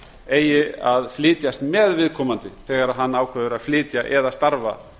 eigi að flytjast með viðkomandi þegar hann ákveður að flytja eða starfa